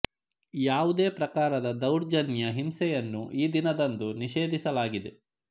ಯಾವುದೇ ಪ್ರಕಾರದ ದೌರ್ಜನ್ಯ ಹಿಂಸೆ ಯನ್ನು ಈ ದಿನದಂದು ನಿಷೇಧಿಸಲಾಗಿದೆ